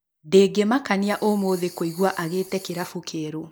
Ndĩngĩmakania ũmũthĩ kũigua agĩĩte kĩrabu kĩerũ